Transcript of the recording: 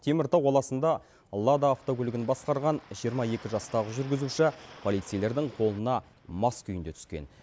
теміртау қаласында лада автокөлігін басқарған жиырма екі жастағы жүргізуші полицейлердің қолына мас күйінде түскен